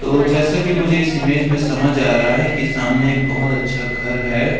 और जैसा कि मुझे इस इमेज में समझ आ रहा हैं कि सामने एक बहोत अच्छा घर है।